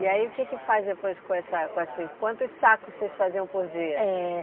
E aí o que que faz depois com essa com essa... Quantos sacos vocês faziam por dia? Eh